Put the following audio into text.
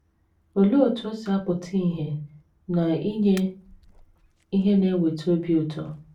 Olee otú o si apụta ìhè na inye ihe na - eweta obi ụtọ?